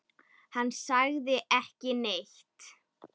Hann sagði ekki neitt.